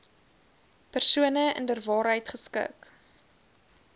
persoon inderwaarheid geskik